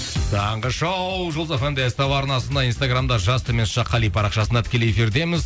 таңғы шоу жұлдыз фм де ств арнасында инстаграмда жас қали парақшасында тікелей эфирдеміз